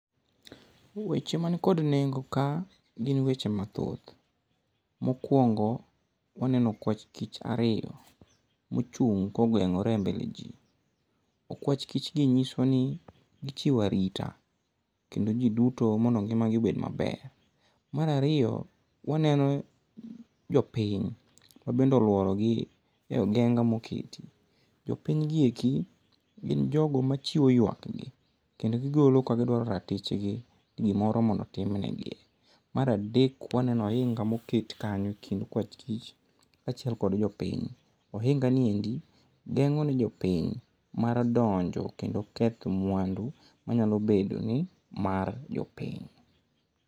Weche mani kod nengo ka, gin weche mathoth. Mokwongo, waneno okwach kich ariyo mochung' kongeng'ore e mbele ji. Okwach kich gi nyiso ni, gichiwo arita kendo gi duto mondo ngima gi obed maber. Marariyo waneno jopiny, mabende olworo gi e ogenga moketi. Jopiny gi eki, gin jogo machiwo ywak gi, kendo gigolo kagigolo ratich gi, gimoro mondo otimnegi. Maradek waneno ohinga moket kanyo kind okwach kich ka achiel kod jopiny. Ohinga ni endi, geng'o ne jopiny mar donjo kendo keth mwandu manyalo bedo ni mar jopiny.